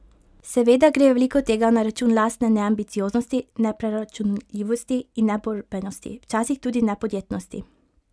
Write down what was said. Seveda gre veliko tega na račun lastne neambicioznosti, nepreračunljivosti in neborbenosti, včasih tudi nepodjetnosti.